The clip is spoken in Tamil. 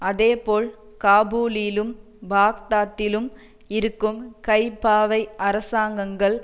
அதேபோல் காபூலிலும் பாக்தாத்திலும் இருக்கும் கைப்பாவை அரசாங்கங்கள்